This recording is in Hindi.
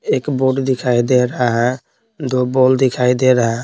एक बोर्ड दिखाई दे रहा है दो बॉल दिखाई दे रहा है।